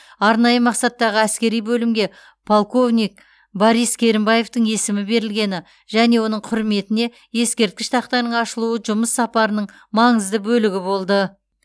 арнайы мақсаттағы әскери бөлімге полковник борис керімбаевтің есімі берілгені және оның құрметіне ескерткіш тақтаның ашылуы жұмыс сапарының маңызды бөлігі болды